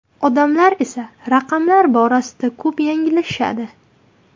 Odamlar esa raqamlar borasida ko‘p yanglishadi.